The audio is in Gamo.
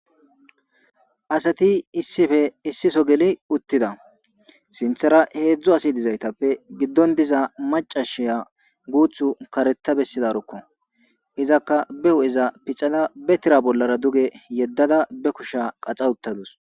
Asati issipe issiso geli uttida; sinthera hedzdzu asi dizaytappe giddon diza maccashiya guuththu karetta bessizaroko; izakka be hu'eza pixada be tira bollara duge yeddada be kusha qaxa uttadus.